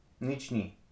Nič ni.